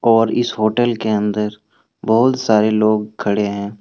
और इस होटल के अंदर बहुत सारे लोग खड़े है।